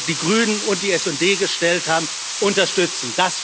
die Grünen und die SD gestellt haben, unterstützen.